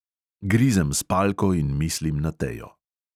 Grizem spalko in mislim na tejo.